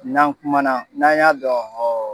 N'an kumana n'an y'a dɔn